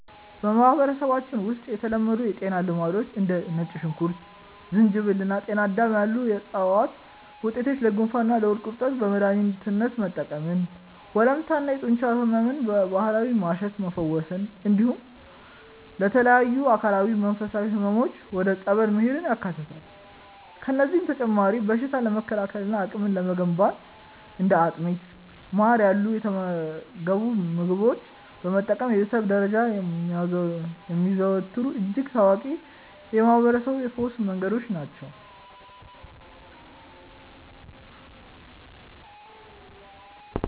በማህበረሰባችን ውስጥ የተለመዱ የጤና ልማዶች እንደ ነጭ ሽንኩርት፣ ዝንጅብል እና ጤናዳም ያሉ የዕፅዋት ውጤቶችን ለጉንፋንና ለሆድ ቁርጠት በመድኃኒትነት መጠቀምን፣ ወለምታና የጡንቻ ሕመምን በባህላዊ ማሸት መፈወስን፣ እንዲሁም ለተለያዩ አካላዊና መንፈሳዊ ሕመሞች ወደ ጸበል መሄድን ያካትታሉ። ከእነዚህም በተጨማሪ በሽታን ለመከላከልና አቅም ለመገንባት እንደ አጥሚትና ማር ያሉ የተመገቡ ምግቦችን መጠቀም በቤተሰብ ደረጃ የሚዘወተሩ እጅግ ታዋቂ የማህርበረሰብ የፈውስ መንገዶች ናቸው።